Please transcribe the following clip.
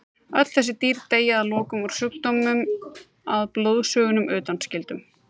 Öll þessi dýr deyja að lokum úr sjúkdómnum að blóðsugunum undanskildum.